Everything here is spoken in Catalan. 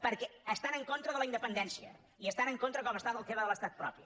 perquè estant en contra de la independència i estant en contra com ho està del tema de l’estat propi